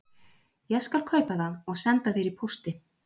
Ég skal kaupa það og senda þér í pósti